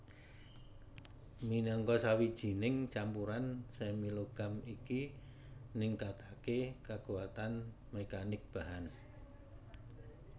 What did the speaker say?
Minangka sawijining campuran semi logam iki ningkataké kakuatan mekanik bahan